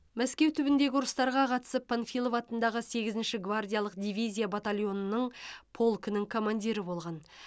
мәскеу түбіндегі ұрыстарға қатысып панфилов атындағы сегізінші гвардиялық дивизия батальонының полкінің командирі болған